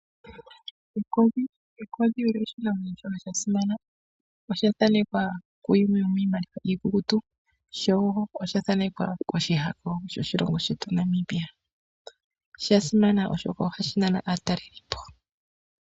Ekodhi olyo oshinamwenyo shimwe sha simana. Osha thaanekwa kuyimwe yomiimaliwa iikukutu sho osha thaanekwa koshihako shoshilongo shetu Namibia. Osha simana oshoka ohashi nana aatalelipo.